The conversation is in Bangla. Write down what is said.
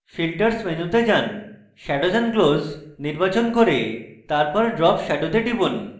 filters মেনুতে যান shadows and glows নির্বাচন করুন এবং তারপর drop shadow go টিপুন